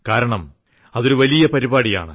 കാരണം അതൊരു വലിയ പരിപാടിയാണ്